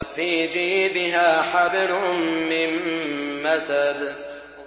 فِي جِيدِهَا حَبْلٌ مِّن مَّسَدٍ